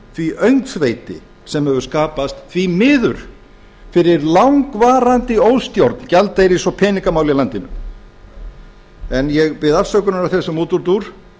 því öngþveiti sem hefur skapast því miður fyrir langvarandi óstjórn gjaldeyris og peningamála í landinu ég bið afsökunar á þessum útúrdúr